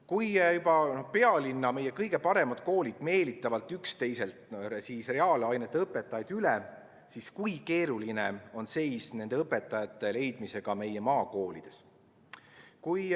Kui juba pealinna kõige paremad koolid meelitavad üksteiselt reaalainete õpetajaid üle, siis kui keeruline on seis nende õpetajate leidmisega meie maakoolides?